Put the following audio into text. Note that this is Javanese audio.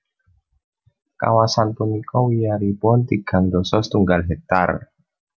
Kawasan punika wiyaripun tigang dasa setunggal hektar